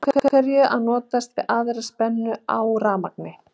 Af hverju að notast við aðra spennu á rafmagni?